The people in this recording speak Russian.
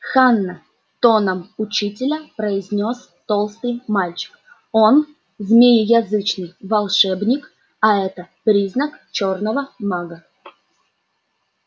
ханна тоном учителя произнёс толстый мальчик он змееязычный волшебник а это признак чёрного мага